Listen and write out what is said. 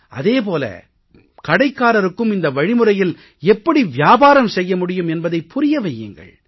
அதே போல கடைக்காரருக்கும் இந்த வழிமுறையில் எப்படி வியாபாரம் செய்ய முடியும் என்பதைப் புரிய வையுங்கள்